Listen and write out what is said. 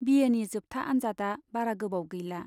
बि एनि जोबथा आन्जादआ बारा गोबाव गैला।